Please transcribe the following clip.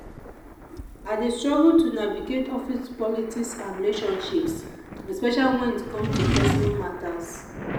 i dey struggle to navigate office politics and relationships especially when it come to personal matters.